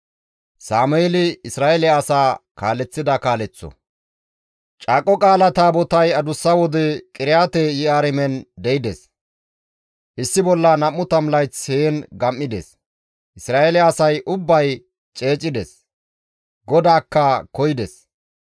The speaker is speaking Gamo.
Caaqo Qaala Taabotay adussa wode Qiriyaate-Yi7aarimen de7ides; issi bolla 20 layth heen gam7ides; Isra7eele asay ubbay ceecides. GODAAKKA koyides.